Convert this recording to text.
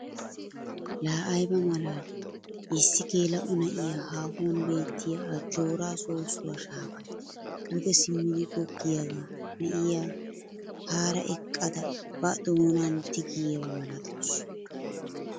La ayba malaali! issi geela'o na'iyaa haahuwaan beettiyaa ajjooraa soossuwaa shaafay duge simmidi goggiyaaga na'iyaa hara eqqada ba doonan tigiyaaba milatawusu.